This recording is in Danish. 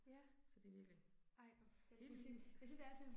Så det virkelig. Hele livet